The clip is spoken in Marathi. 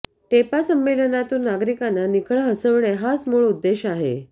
टेपा संमेलनातून नागरिकांना निखळ हसविणे हाच मुळ उद्देश आहे